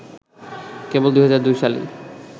কেবল ২০০২ সালেই